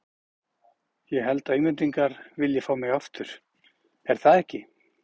Ég held að Englendingar vilji fá mig aftur, er það ekki?